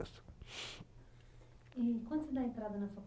E quanto da entrada na